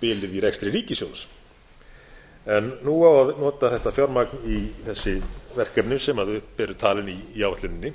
bilið í rekstri ríkissjóðs en nú á að nota þetta fjármagn í þessi verkefna sem upp eru talin í áætluninni